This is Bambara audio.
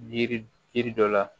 Yiri yiri dɔ la